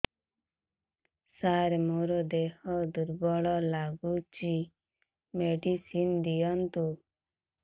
ସାର ମୋର ଦେହ ଦୁର୍ବଳ ଲାଗୁଚି ମେଡିସିନ ଦିଅନ୍ତୁ